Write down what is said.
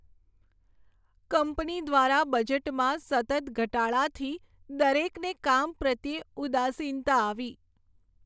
Company દ્વારા બજેટમાં સતત ઘટાડાથી દરેકને કામ પ્રત્યે ઉદાસીનતા આવી.